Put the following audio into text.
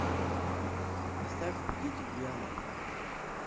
поставь дети дианы